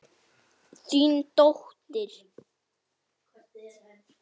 Þín dóttir.